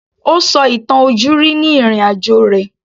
Ó sọ ìtàn ojúrí ni ìrìn-àjò rẹ̀